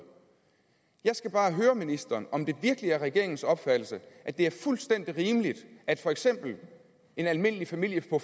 jeg skal bare høre ministeren om det virkelig er regeringens opfattelse at det er fuldstændig rimeligt at for eksempel en almindelig familie på